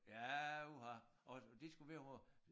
Ja uha og det skulle være vor